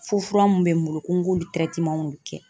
Fo fura mun bɛ n bolo ko n k'olu kɛ.